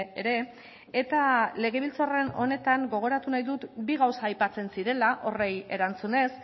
ere eta legebiltzar honetan gogoratu nahi dut bi gauza aipatzen zirela horri erantzunez